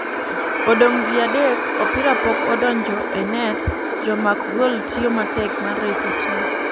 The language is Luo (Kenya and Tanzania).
Odong ji adek ,opira pok odonjo e net ,jamak gol tiyo matek mar reso tim.